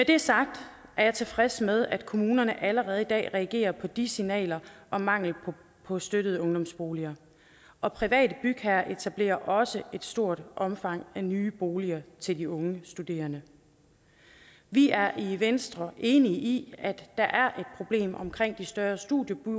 det er sagt er jeg tilfreds med at kommunerne allerede i dag reagerer på de signaler om mangel på støttede ungdomsboliger og private bygherrer etablerer også i stort omfang nye boliger til de unge studerende vi er i venstre enige i at der er et problem omkring de større studiebyer